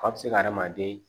Fa bɛ se ka hadamaden